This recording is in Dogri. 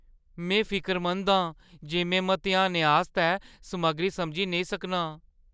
में फिकरमंद ऐ जे में मतेहानै आस्तै समग्गरी समझी नेईं सकनां।